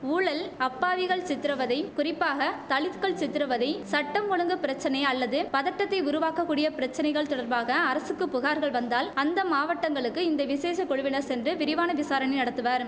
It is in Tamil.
ஊழல் அப்பாவிகள் சித்திரவதை குறிப்பாக தலித்கள் சித்திரவதை சட்டம் ஒழுங்கு பிரச்சனை அல்லது பதட்டத்தை உருவாக்க கூடிய பிரச்சனைகள் தொடர்பாக அரசுக்கு புகார்கள் வந்தால் அந்த மாவட்டங்களுக்கு இந்த விசேஷ குழுவினர் சென்று விரிவான விசாரணை நடத்துவர்